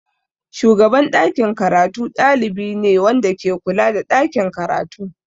Shugaban ɗakin karatu ɗalibi ne wanda ke kula da ɗakin karatu.